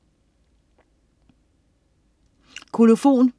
Kolofon